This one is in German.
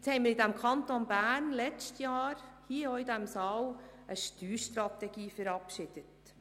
Im vergangenen Jahr haben wir hier im Saal eine Steuerstrategie für den Kanton Bern verabschiedet.